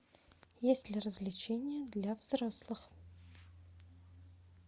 есть ли развлечения для взрослых